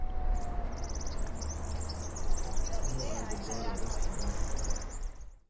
Nå er det bare resten igjen.